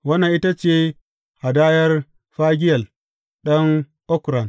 Wannan ita ce hadayar Fagiyel ɗan Okran.